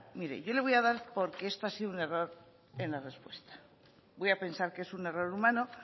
mire yo le voy a dar porque esto ha sido un error en la respuesta voy a pensar que es un error humano